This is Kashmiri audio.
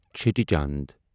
چھٹی چند